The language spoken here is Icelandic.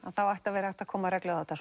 þá ætti að vera hægt að koma reglu á þetta